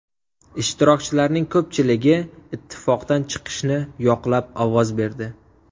Ishtirokchilarning ko‘pchiligi ittifoqdan chiqishni yoqlab ovoz berdi.